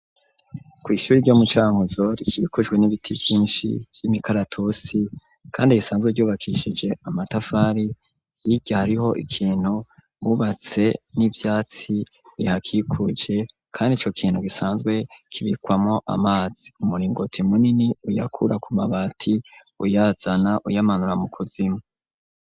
Kw'ishyure ryo mucankuzo rikikujwe n'ibiti vyinshi vy'imikaratusi kandi risanzwe ryubakishije amatafari ahiye hariho ikintu mubatse n'ivyatsi bihakikuje kandi ico kintu gisanzwe kibikwamwo amazi umuringoti munini uyakura ku mabati uyazana uyamanura mu kuzimu.